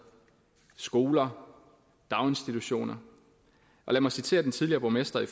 skoler og daginstitutioner lad mig citere den tidligere borgmester i